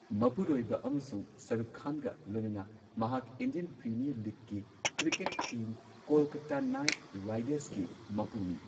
ꯃꯄꯨꯔꯣꯏꯕ ꯑꯃꯁꯨꯡ ꯁꯥꯍꯔꯨꯈ ꯈꯥꯟꯒ ꯂꯣꯏꯅꯅ ꯃꯍꯥꯛ ꯏꯟꯗꯤꯌꯟ ꯄ꯭ꯔꯤꯃꯤꯌꯔ ꯂꯤꯒꯀꯤ ꯀ꯭ꯔꯤꯀꯦꯠ ꯇꯤꯝ ꯀꯣꯜꯀꯥꯇꯥ ꯅꯥꯏꯠ ꯔꯥꯏꯗꯔꯁꯀꯤ ꯃꯄꯨꯅꯤ꯫